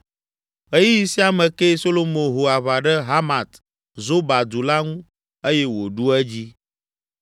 Ɣeyiɣi sia me kee Solomo ho aʋa ɖe Hamat Zoba du la ŋu eye wòɖu edzi.